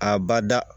A bada